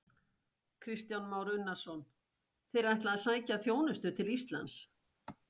Kristján Már Unnarsson: Þeir ætla að sækja þjónustu til Íslands?